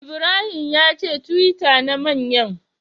Ibrahim yace twitter na manyan.